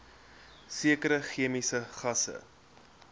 sekere chemiese gasse